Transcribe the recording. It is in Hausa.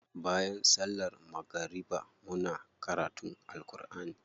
Bayan sallar magariba muna karutun Alkur'ani.